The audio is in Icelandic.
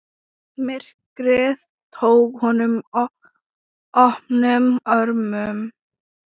Myrkrið tók honum opnum örmum.